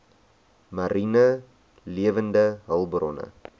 mariene lewende hulpbronne